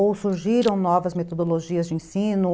Ou surgiram novas metodologias de ensino?